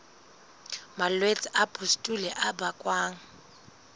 malwetse a pustule a bakwang